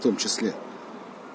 в том числе